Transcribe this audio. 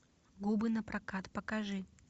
губы напрокат покажи